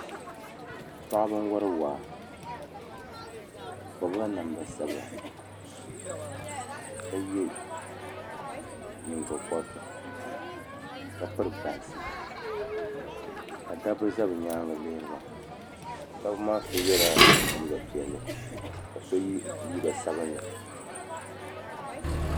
Paɣaba n wori waa bi pirila namda sabila ka yɛ nyingokoriti ka piri bansi ka dabba ʒɛ bi nyaangi lihiriba dabba maa so yɛla liiga piɛlli ka so yɛ liiga sabinli